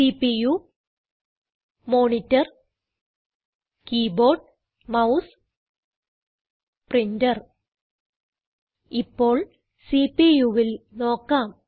CPU monitor keyboard mouse printer ഇപ്പോൾ CPUവിൽ നോക്കാം